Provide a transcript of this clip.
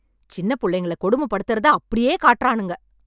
சின்னப் புள்ளைங்கள கொடுமைப்படுத்தறத அப்டியே காட்டறானுங்க...